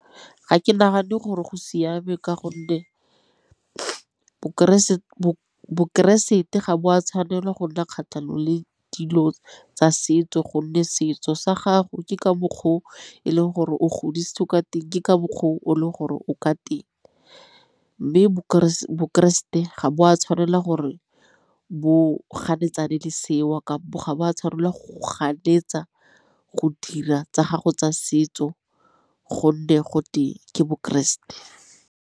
Ga ke nagane gore go siame ka gonne bokeresete ga bo a tshwanelwa go nna kgatlhanong le dilo tsa setso gonne setso sa gago ke ka mokgwa o e leng gore o godise o ka teng, ke ka mokgwa o le gore o ka teng. Mme bokeresete ga bo a tshwanela gore bo ganetsana le seo kabo ga bo a tshwarelelwa ganetsa go dira tsa gago tsa setso gonne gotwe ke bokeresete.